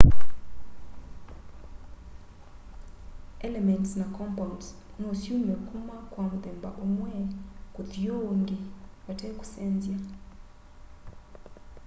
elements na compounds no syume kuma kwa muthemba umwe kuthi uungi vate kusenzya